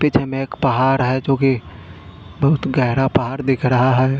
पीछे मे एक पहाड़ है जो कि बहुत गहरा पहाड़ दिख रहा है।